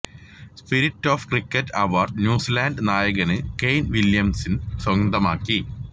spirit of cricket award New Zealand നായകന് Kane Williamson സ്വന്തമാക്കി